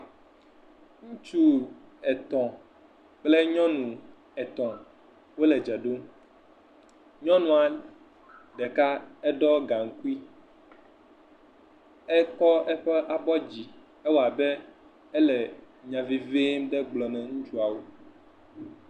Ŋutsu e tɔ̃ kple nyɔnu e tɔ̃ wo le dze dom nyɔnu a ɖeka dɔ ga ŋkui e kɔ eƒe abɔ̃ dzi e wɔ abe e le nya vevie gblɔ ne ŋutsu a wo